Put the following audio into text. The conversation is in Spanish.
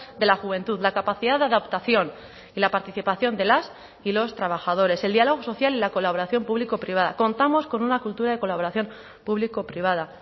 de la juventud la capacidad de adaptación y la participación de las y los trabajadores el diálogo social y la colaboración público privada contamos con una cultura de colaboración público privada